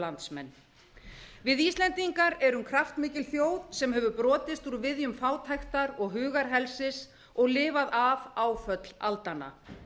landsmenn við íslendingar erum kraftmikil þjóð sem höfum brotist úr viðjum fátæktar og hugarhelsis og lifað af áföll aldanna